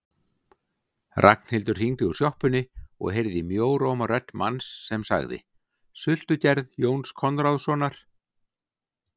Ragnhildur hringdi úr sjoppunni og heyrði í mjóróma rödd manns sem sagði: Sultugerð Jóns Konráðssonar